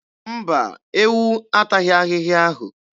Mba, ewu ataghị ahịhịa ahụ.